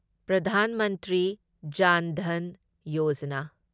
Pradhan Mantri Jan Dhan Yojana